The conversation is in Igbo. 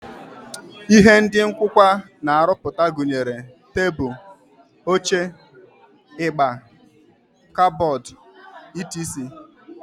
Ihe ndị nkụkwa na-arụpụta gụnyere tebụl, oche, igbe, kọbọd, etc